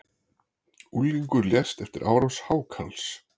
Unglingur lést eftir árás hákarls